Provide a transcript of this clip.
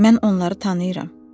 Mən onları tanıyıram.